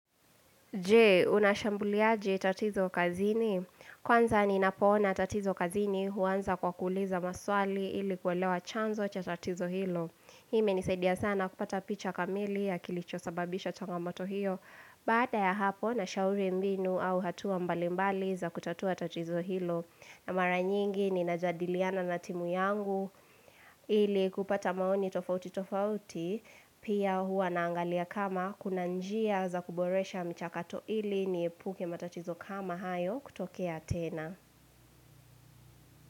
Je, unashambuliaje tatizo kazini. Kwanza ninapoona tatizo kazini huanza kwa kuuliza maswali ili kuelewa chanzo cha tatizo hilo. Hii imenisaidia sana kupata picha kamili ya kilicho sababisha changamoto hiyo. Baada ya hapo nashauri mbinu au hatua mbalimbali za kutatua tatizo hilo. Na mara nyingi ninajadiliana na timu yangu ili kupata maoni tofauti tofauti. Pia huwa naangalia kama kuna njia za kuboresha mchakato ili niepuke matatizo kama hayo kutokea tena.